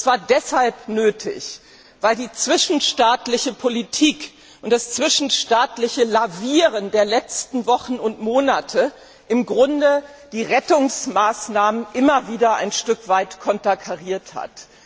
Das war deshalb nötig, weil die zwischenstaatliche Politik und das zwischenstaatliche Lavieren der letzten Wochen und Monate im Grunde die Rettungsmaßnahmen immer wieder ein Stück weit konterkariert haben.